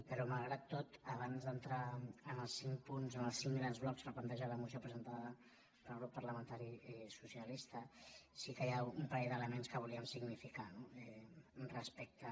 però malgrat tot abans d’entrar en els cinc punts en els cinc grans blocs que planteja la moció presentada pel grup parlamentari socialista sí que hi ha un pa·rell d’elements que volíem significar no respecte